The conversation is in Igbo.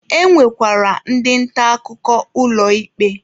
E nwekwara ndị nta akụkọ ụlọ ikpe.